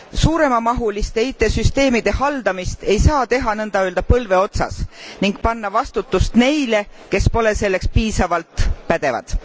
Suuremamahuliste IT süsteemide haldamist ei saa teha niiöelda põlve otsas ning panna vastutus neile, kes pole selleks piisavalt pädevad.